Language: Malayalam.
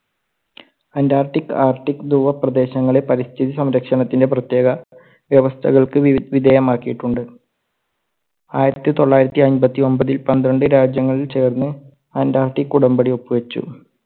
അന്റാർട്ടിക്ക് ആർട്ടിക് ദുവ പ്രദേശങ്ങളെ പരിസ്ഥിതി സംരക്ഷണത്തിന്റെ പ്രേത്യേക വ്യവസ്ഥകൾക്ക് വി~വിധേയമാക്കിട്ടുണ്ട്. ആയിരത്തി തൊള്ളായിരത്തി അമ്പത്തിയൊമ്പതിൽ പന്ത്രണ്ട് രാജ്യങ്ങൾ ചേർന്ന് antartic ഉടമ്പടി ഒപ്പു വെച്ചു.